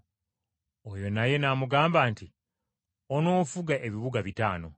“Oyo naye n’amugamba nti, ‘Onoofuga ebibuga bitaano.’